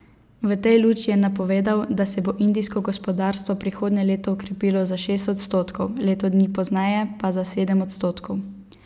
V tej luči je napovedal, da se bo indijsko gospodarstvo prihodnje leto okrepilo za šest odstotkov, leto dni pozneje pa za sedem odstotkov.